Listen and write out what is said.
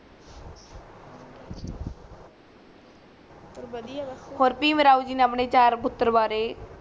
ਪਰ ਬਦਿਆ ਬਸ ਔਰ ਭੀਮ ਰਾਵ ਜੇ ਨੇ ਅਪਣੇ ਚਾਰ ਪੁਤਰ ਵਾਰੇ